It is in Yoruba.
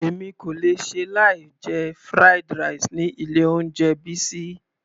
Èmi kò lè ṣe láì jẹ fried rice ni ilé oúnjẹ Bisi.